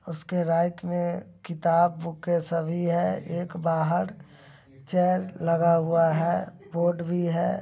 उसके राइट मे किताब-बूक ए सभी है। एक बाहर चेयर लगा हुआ है बोर्ड भी है।